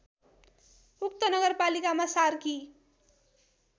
उक्त नगरपालिकामा सार्की